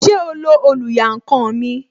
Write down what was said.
Ṣé o lo oluyankan mi?